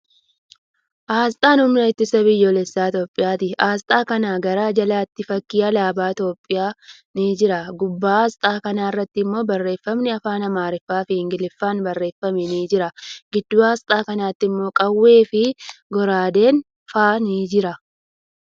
Aasxaa humna ittisa biyyoolessa Itiyoophiyyaati. Aasxaa kana gara jalaatti fakkiin alaabaa Itiyoophiyyaa ni jira. Gubbaa aasxaa kanarratti immoo barreeffamni afaan Amaariffaa fi Ingiliffaan barreeffame ni jira. Gidduu aasxaa kanaatti immoo qawwee fii goraadeen fa'a ni jiru.